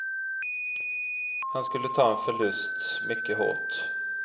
Han skulle ta en förlust mycket hårt.